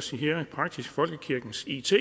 sige i praksis folkekirkens it